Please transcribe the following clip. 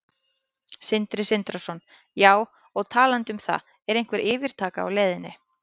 Sindri Sindrason: Já, og talandi um það, er einhver yfirtaka á leiðinni?